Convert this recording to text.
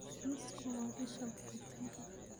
Nutsku waa isha borotiinka.